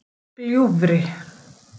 Gljúfri